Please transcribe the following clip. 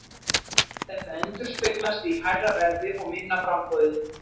Þetta endurspeglast í hærra verði og minna framboði.